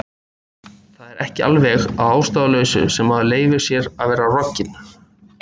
Það var ekki alveg að ástæðulausu sem maður leyfði sér að vera rogginn.